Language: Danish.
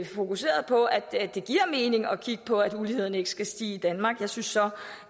fokuserede på at det giver mening at kigge på at uligheden ikke skal stige i danmark jeg synes så